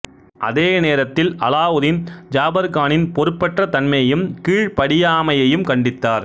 அதே நேரத்தில் அலாவுதீன் ஜாபர்கானின் பொறுப்பற்ற தன்மையும் கீழ்ப்படியாமையையும் கண்டித்தார்